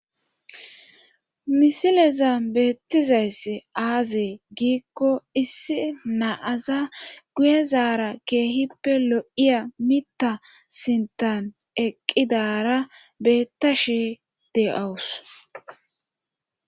misileza beettizayss aazi giikko issi naaza guye zaara keehippe lo7iya mita sintan eqqidara beettashi de7owus